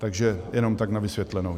Takže jenom tak na vysvětlenou.